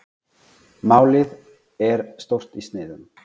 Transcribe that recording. Málið er stórt í sniðum.